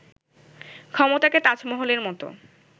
ক্ষমতাকে 'তাজমহল'-এর মতো